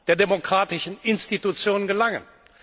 der demokratischen Institutionen gelangen.